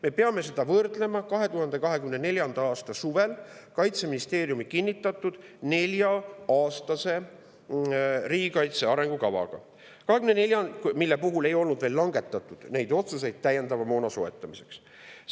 Me peame seda võrdlema 2024. aasta suvel Kaitseministeeriumi kinnitatud nelja-aastase riigikaitse arengukavaga, mille puhul ei olnud veel langetatud otsuseid täiendava moona soetamiseks.